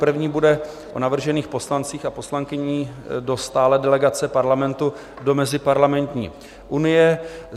První bude o navržených poslancích a poslankyních do stálé delegace Parlamentu do Meziparlamentní unie.